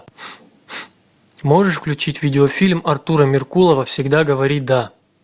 можешь включить видеофильм артура меркулова всегда говори да